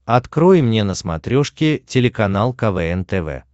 открой мне на смотрешке телеканал квн тв